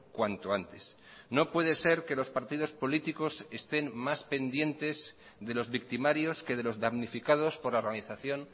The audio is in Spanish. cuanto antes no puede ser que los partidos políticos estén más pendientes de los victimarios que de los damnificados por la organización